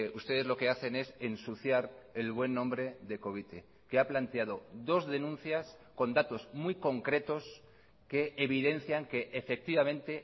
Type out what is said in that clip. ustedes lo que hacen es ensuciar el buen nombre de covite que ha planteado dos denuncias con datos muy concretos que evidencian que efectivamente